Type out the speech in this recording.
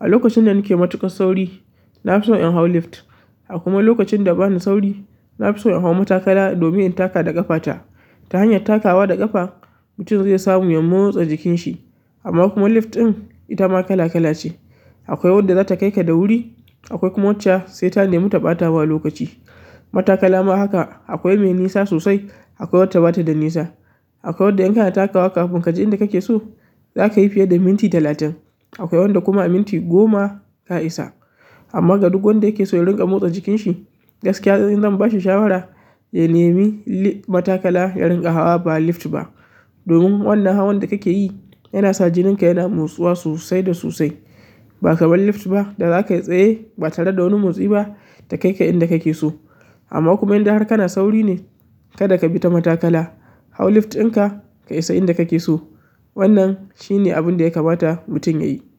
A lokacin da nake matuƙan sauri, na fi so in hau lift. A kuma wani lokacin da bana sauri nafi so in hau matakala domin in taka da ƙafa ta. Ta hanyar takawa da ƙafa, mutum zai samu ya motsa jikinshi. Amma kuma lift ɗin, ita ma kala-kala ce. Akwai wanda zata kai ka da wuri, akwai kuma wacce sai ta nemi ta ɓa ta ma lokaci. Matakala ma haka, akwai mai nisa sosai, akwai wacce ba ta da nisa. Akwai wandda in kana takawa kafin ka je inda kake so, za ka yi fiye da minti talatin. Akwai wadda kuma a minti goma ka isa. Amma ga duk wanda yake so ya dinga motsa jikinshi, gaskiya ni zan ba shi shawara ya nemi li-- matakala ya dinga hawa ba lift ba. Domin wannan hawan da kake yi yana sa jinin ka yana motsuwa sosai da sosai. Ba kamar lift ba da za ka yi tsaye ba tare da wani motsi ba, ta kai ka inda kake so. Amma kuma in dai har kana sauri ne, kada ka bi ta matakala. Hau lift ɗinka ka isa inda kake so. Wannan shine abin da ya kamata mutum ya yi.